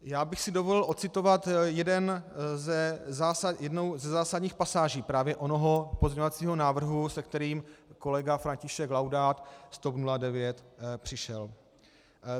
Já bych si dovolil odcitovat jednu ze zásadních pasáží právě onoho pozměňovacího návrhu, se kterým kolega František Laudát z TOP 09 přišel.